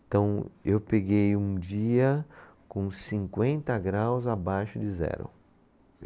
Então, eu peguei um dia com cinquenta graus abaixo de zero.